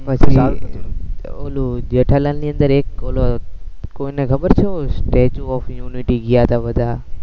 ઓલું જેઠાલાલની અંદર એક ઓલું કોઈને ખબર છે, સ્ટેચ્યુ ઓફ યુનિટી ગયા તા બધા